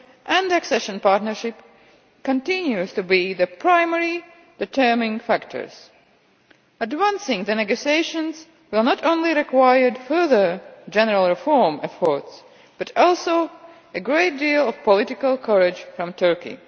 and accession partnership, continue to be the primary determining factors. Advancing the negotiations will not only require further general reform efforts, but also a great deal of political courage from Turkey.